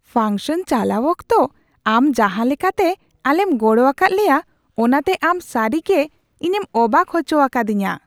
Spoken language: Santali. ᱯᱷᱟᱝᱥᱚᱱ ᱪᱟᱞᱟᱣ ᱚᱠᱛᱚ ᱟᱢ ᱡᱟᱦᱟᱸ ᱞᱮᱠᱟᱛᱮ ᱟᱞᱮᱢ ᱜᱚᱲᱚ ᱟᱠᱟᱫ ᱞᱮᱭᱟ ᱚᱱᱟᱛᱮ ᱟᱢ ᱥᱟᱹᱨᱤᱜᱮ ᱤᱧᱮᱢ ᱚᱵᱟᱠ ᱦᱚᱪᱚ ᱟᱠᱟᱫᱤᱧᱟᱹ ᱾